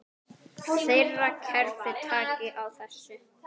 Þeirra kerfi taki á þessu.